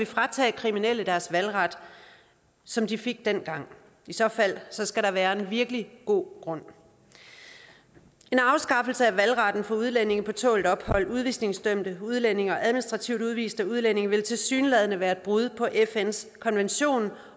fratage kriminelle deres valgret som de fik dengang i så fald skal der være en virkelig god grund en afskaffelse af valgretten for udlændinge på tålt ophold udvisningsdømte udlændinge og administrativt udviste udlændinge vil tilsyneladende være et brud på fns konvention om